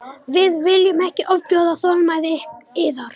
Við viljum ekki ofbjóða þolinmæði yðar.